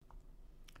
DR1